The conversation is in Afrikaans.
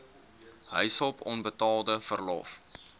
huishulp onbetaalde verlof